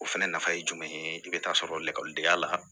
O fɛnɛ nafa ye jumɛn ye i bɛ taa sɔrɔ lakɔlidenya la